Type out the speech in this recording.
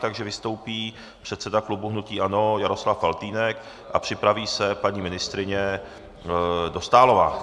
Takže vystoupí předseda klubu hnutí ANO Jaroslav Faltýnek a připraví se paní ministryně Dostálová.